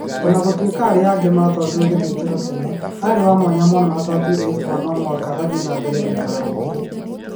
O na gũtuĩka arĩa age matwariro gĩthĩnjrwo tene, aarĩ wa mwanya mũno na nĩ twatuire itua atĩ no mũhaka athiĩ na mbere gũikara gũkũ".